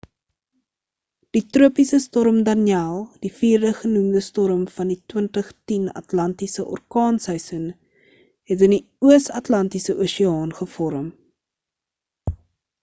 die tropiese storm danielle die vierde genoemde storm van die 2010 atlantiese orkaanseisoen het in die oos atlantiese oseaan gevorm